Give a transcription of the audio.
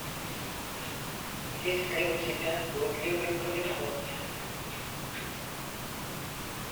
есть ли у тебя блудливая калифорния